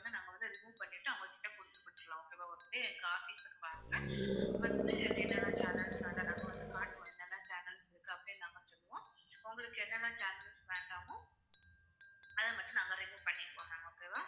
அதை நாங்க வந்து remove பண்ணிட்டு அவங்ககிட்டயே குடுத்து முடிச்சிக்கலாம் okay வா okay காட்டி கொடுப்பாங்க வந்து என்னென்ன channels வேண்டாம் நாங்க வந்து காட்டுவம் என்னென்ன channels இருக்கு அப்பிடியே நாங்க வந்து சொல்லுவோம் இப்போ உங்களுக்கு என்னென்ன channels வேண்டாமோ அத மட்டும் நாங்க remove பண்ணிப்போம் okay வா